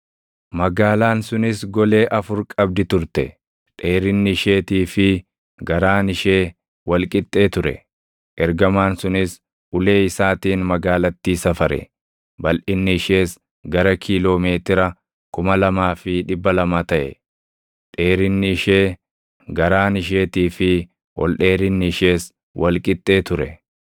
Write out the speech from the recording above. Magaalaan sunis golee afur qabdi turte; dheerinni isheetii fi garaan ishee wal qixxee ture. Ergamaan sunis ulee isaatiin magaalattii safare; balʼinni ishees gara kiiloo meetira 2,200 taʼe; dheerinni ishee, garaan isheetii fi ol dheerinni ishees wal qixxee ture.